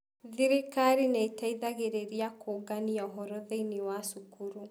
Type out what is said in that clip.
Thirikari nĩ ĩteithagĩrĩria kũũngania ũhoro thĩinĩ wa cukuru.